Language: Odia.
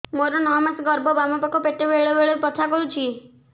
ମୋର ନଅ ମାସ ଗର୍ଭ ବାମ ପାଖ ପେଟ ବେଳେ ବେଳେ ବଥା କରୁଛି